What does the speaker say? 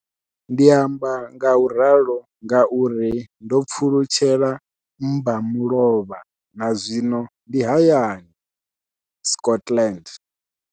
Ndi amba ngauralo nga uri ndo pfulutshela mmba mulovha na zwino ndi hayani, Scotland.